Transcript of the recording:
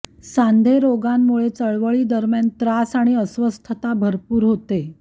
सांधे रोगांमुळे चळवळीदरम्यान त्रास आणि अस्वस्थता भरपूर होते